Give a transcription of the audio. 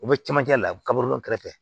U bɛ camancɛ la kaba dun kɛrɛfɛ